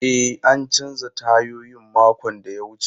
E, an canza tayoyin makon da ya wuce.